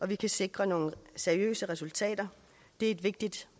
vi kan sikre nogle seriøse resultater det er et vigtigt